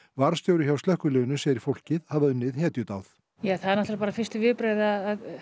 varðstjóri hjá slökkviliðinu segir fólkið hafa unnið hetjudáð það eru náttúrlega fyrstu viðbrögð að